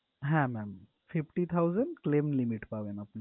হ্যাঁ ma'am fifty thousand claim limit পাবেন আপনি।